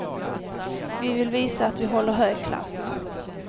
Vi vill visa att vi håller hög klass.